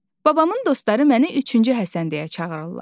Babamın dostları məni üçüncü Həsən deyə çağırırlar.